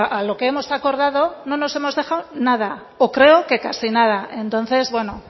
a lo que hemos acordado no nos hemos dejado nada o creo que casi nada entonces bueno